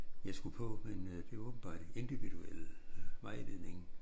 Jeg skulle på men øh det åbenbart individuel vejledning